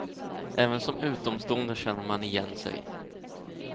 Även som utomstående känner man igen sig.